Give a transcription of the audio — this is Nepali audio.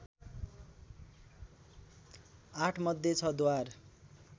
आठमध्ये छ द्वार